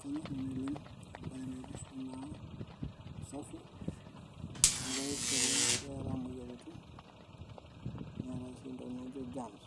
Kaanyor nanu oleng, embaye napirta ena usafi amu kees ole'ng peera imoyiaritin ontokiti'ng nijo CS[germs]CS